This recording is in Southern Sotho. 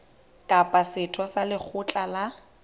kapa setho sa lekgotla la